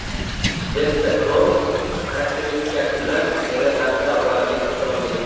Vesta Cross – xarakteristikasi bilan hayratlantira oladigan avtomobil.